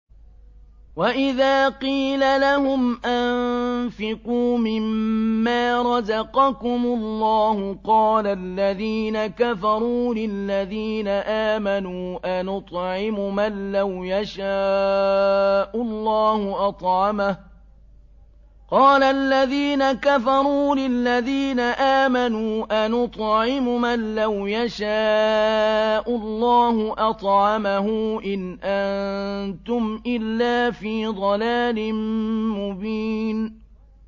وَإِذَا قِيلَ لَهُمْ أَنفِقُوا مِمَّا رَزَقَكُمُ اللَّهُ قَالَ الَّذِينَ كَفَرُوا لِلَّذِينَ آمَنُوا أَنُطْعِمُ مَن لَّوْ يَشَاءُ اللَّهُ أَطْعَمَهُ إِنْ أَنتُمْ إِلَّا فِي ضَلَالٍ مُّبِينٍ